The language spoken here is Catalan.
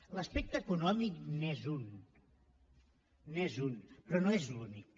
l’aspecte econòmic n’és un n’és un però no és l’únic